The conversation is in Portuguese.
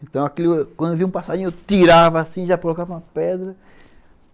Então, quando eu via um passarinho, eu tirava assim, já colocava uma pedra.